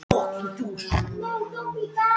Allt þetta hefur hjálpað mér til að lifa án áfengis.